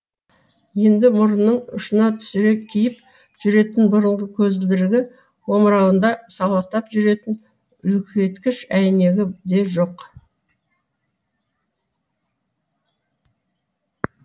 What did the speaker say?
енді мұрнының ұшына түсіре киіп жүретін бұрынғы көзілдірігі омырауында салақтап жүретін үлкейткіш әйнегі де жоқ